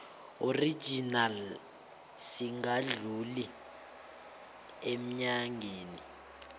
original singadluli eenyangeni